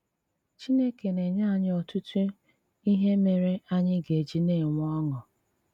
Chínèkè na-ènyè ányị ọtụtụ íhè mére ányị gà-ejì na-ènwè ọṅụ.